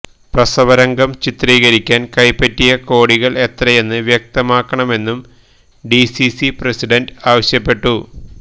പ്രസവരംഗം ചിത്രീകരിക്കാന് കൈപ്പറ്റിയ കോടികള് എത്രയെന്ന് വ്യക്തമാക്കണമെന്നും ഡിസിസി പ്രസിഡന്റ് ആവശ്യപ്പെട്ടു